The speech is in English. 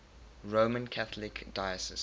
roman catholic diocese